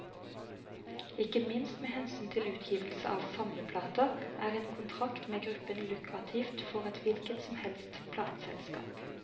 Ikke minst med hensyn til utgivelse av samleplater, er en kontrakt med gruppen lukrativt for et hvilket som helst plateselskap.